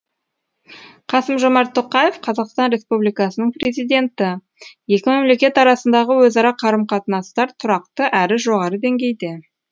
қасым жомарт тоқаев қазақстан республикасының президенті екі мемлекет арасындағы өзара қарым қатынастар тұрақты әрі жоғары деңгейде